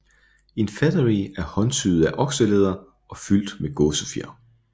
En featherie er håndsyet af okselæder og fyldt med gåsefjer